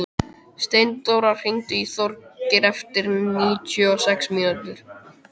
Steindóra, hringdu í Þorgerði eftir níutíu og sex mínútur.